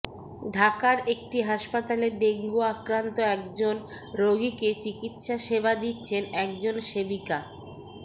ঢাকার একটি হাসপাতালে ডেঙ্গু আক্রান্ত একজন রোগীকে চিকিৎসা সেবা দিচ্ছেন একজন সেবিকা